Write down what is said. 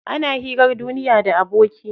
Ana hirar duniya da aboki.